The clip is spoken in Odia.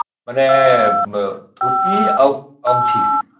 ମାନେ ଧୋତି ଆଉ ଗାମୁଛି